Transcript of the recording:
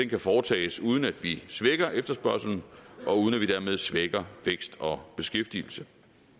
kan foretages uden at vi svækker efterspørgslen og uden at vi dermed svækker vækst og beskæftigelse